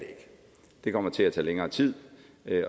det kommer til at tage længere tid